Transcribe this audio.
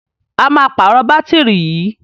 A máa pàrọ̀ bátìrì yìí.